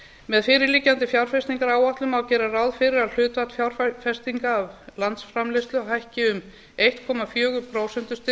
með fyrirliggjandi fjárfestingaráætlun má gera ráð fyrir að hlutfall fjárfestinga af landsframleiðslu hækki um einn komma fjögur prósentustig